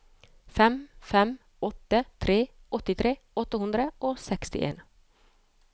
fem fem åtte tre åttitre åtte hundre og sekstien